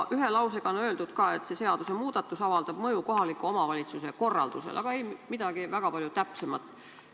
Ühe lausega on öeldud ka, et see seadusemuudatus avaldab mõju kohaliku omavalitsuse korraldusele, aga ei midagi väga palju täpsemat.